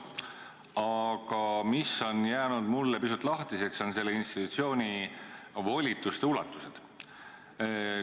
Aga mulle on jäänud pisut lahtiseks selle institutsiooni volituste ulatus.